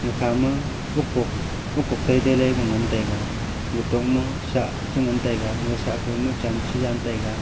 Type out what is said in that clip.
akha ma ukuk ukuk tai tai ley ku ngan taiga nutong ma chah chi ngan taiga nutop ma sah chu ngan taiga ngasah kow ma chan chu jaiyega.